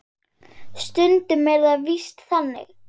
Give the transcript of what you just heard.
Stundum er það víst þannig.